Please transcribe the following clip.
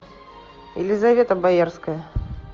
елизавета боярская